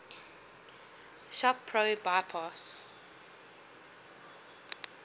shop pro bypass